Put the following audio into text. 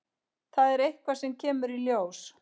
Það er eitthvað sem kemur í ljós.